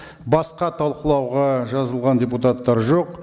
басқа талқылауға жазылған депутаттар жоқ